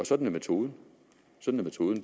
sådan er metoden sådan